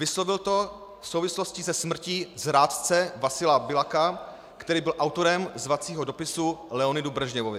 Vyslovil to v souvislosti se smrtí zrádce Vasila Biĺaka, který byl autorem zvacího dopisu Leonidu Brežněvovi.